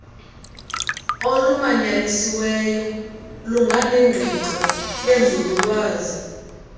olumanyanisiweyo lunganengqiqo yenzululwazi